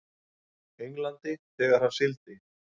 Englandi þegar hann sigldi.